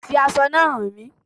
Fi aṣọ náà hán mí